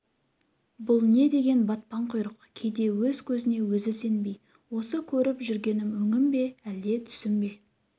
бұл не деген батпан құйрық кейде өз көзіне өзі сенбей осы көріп жүргенім өңім бе әлде түсім бе